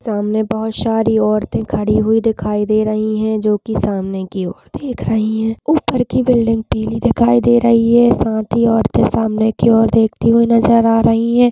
सामने बहोत सारी औरतें खड़ी हुई दिखाई दे रही है जो कि सामने की ओर देख रही है ऊपर की बिल्डिंग पीली दिखाई दे रही है साथ ही औरतें सामने की ओर देखती हुई नज़र आ रही हैं।